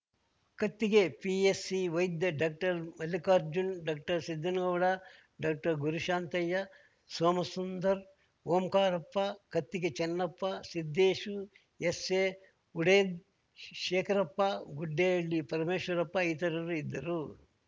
ಕತ್ತಿಗೆ PSC ವೈದ್ಯ doctor Mallikarjun doctor Siddanagouda doctor Gurushantaiah Somasundar Omkarappa Kattige Channappa Siddeshu S A Huded Shekharappa Guddehalli Parameshwarappa ಇತರರು ಇದ್ದರು